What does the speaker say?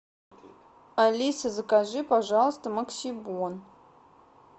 алиса закажи пожалуйста максибон